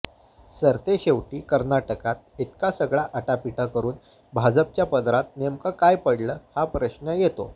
सरतेशेवटी कर्नाटकात इतका सगळा आटापिटा करुन भाजपच्या पदरात नेमकं काय पडलं हा प्रश्न येतो